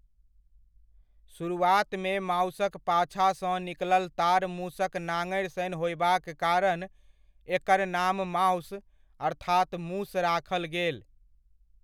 सुरुआतमे माउसक पाछासँ निकलल तार मुसक नङड़ि सन होयबाक कारण, एकर नाम माउस अर्थात मुस राखल गेल।